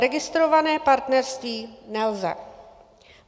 Registrované partnerství - nelze.